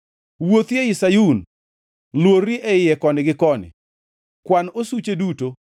Wuothi ei Sayun, luorri e iye koni gi koni, kwan osuche duto,